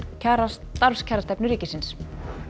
starfskjarastefnu ríkisins